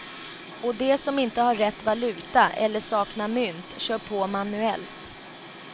Och de som inte har rätt valuta eller saknar mynt kör på manuellt.